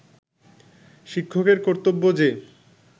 শিক্ষকের কর্তব্য যে